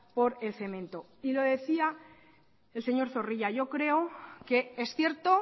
por el cemento y lo decía el señor zorrilla yo creo que es cierto